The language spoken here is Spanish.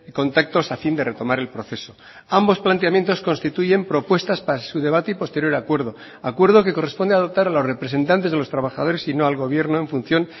contactos a fin de retomar el proceso ambos planteamientos constituyen propuestas para su debate y posterior acuerdo acuerdo que corresponde adoptar a los representantes de los trabajadores y no al gobierno en función